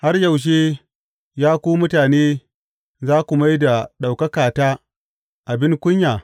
Har yaushe, ya ku mutane za ku mai da ɗaukakata abin kunya?